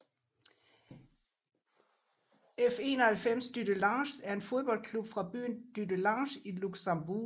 F91 Dudelange er en fodboldklub fra byen Dudelange i Luxembourg